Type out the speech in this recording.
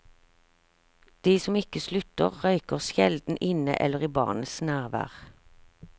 De som ikke slutter, røyker sjelden inne eller i barnets nærvær.